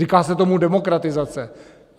Říká se tomu demokratizace.